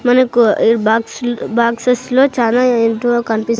మనకు ఈ బాక్స్ల బాక్సస్ లో చానా ఏంటివో కనిపిస్--